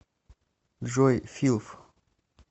джой филв